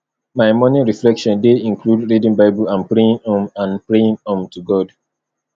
my morning reflection dey include reading bible and praying um and praying um to god